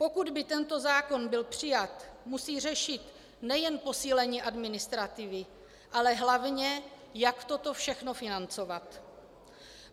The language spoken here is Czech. Pokud by tento zákon byl přijat, musí řešit nejen posílení administrativy, ale hlavně, jak toto všechno financovat.